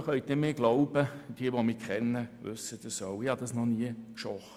Sie können mir glauben, und wer mich kennt, weiss auch, dass ich Konkurrenz noch nie gescheut habe.